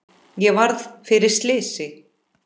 Ég varð fyrir slysi